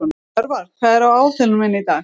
Örvar, hvað er á áætluninni minni í dag?